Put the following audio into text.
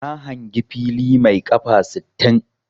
Na hangi fili mai 'kafa' sittin.